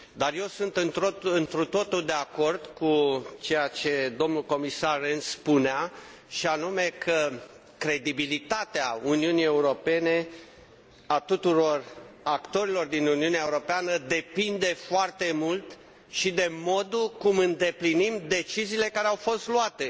Eu sunt întru totul de acord cu ceea ce spunea domnul comisar Rehn, și anume că credibilitatea Uniunii Europene, a tuturor actorilor din Uniunea Europeană, depinde foarte mult și de modul cum îndeplinim deciziile care au fost luate.